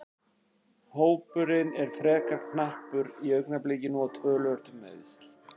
Hópurinn er frekar knappur í augnablikinu og töluvert um meiðsl.